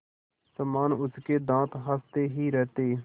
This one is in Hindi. समान उसके दाँत हँसते ही रहते